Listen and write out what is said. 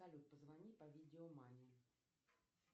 салют позвони по видео маме